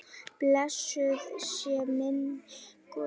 Blessuð sé minning góðs drengs.